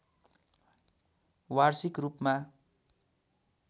वार्षिक रूपमा